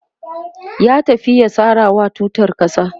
ya tafi ya sarawa tutar ƙasa